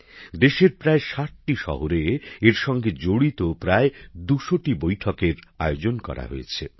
দেশের প্রায় ৬০টি শহরে এর সঙ্গে জড়িত প্রায় ২০০টি বৈঠকের আয়োজন করা হয়েছে